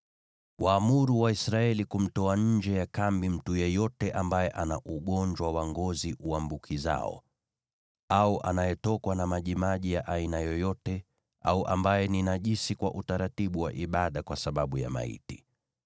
“Waamuru Waisraeli kumtoa nje ya kambi mtu yeyote ambaye ana ugonjwa wa ngozi uambukizao, au anayetokwa na majimaji ya aina yoyote, au ambaye ni najisi kwa utaratibu wa ibada kwa sababu ya maiti.